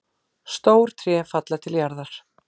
Stór tré falla til jarðar.